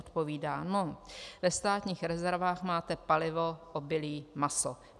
Odpovídá: "No, ve státních rezervách máte palivo, obilí, maso.